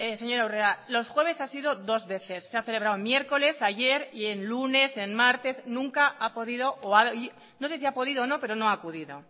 señora urrea los jueves has ido dos veces se ha celebrado miércoles ayer y en lunes en martes no sé si ha podido o no pero no ha acudido